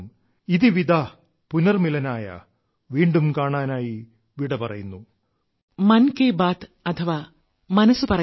ഇതി വിദാ പുനർമിലനായ വീണ്ടും കാണാനായി യാത്ര പറയുന്നു